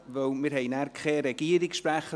Wir haben hier keinen Regierungssprecher.